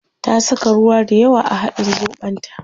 Ta saka ruwa dayawa a hadin zobon ta